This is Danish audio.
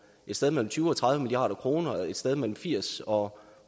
et sted mellem tyve og tredive milliard kroner og om et sted mellem firs og